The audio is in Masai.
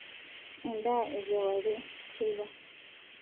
endaa e kewarie/teipa